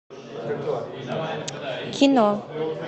кино